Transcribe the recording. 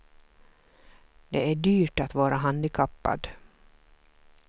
Det är dyrt att vara handikappad.